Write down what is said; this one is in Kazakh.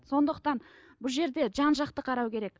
сондықтан бұл жерде жан жақты қарау керек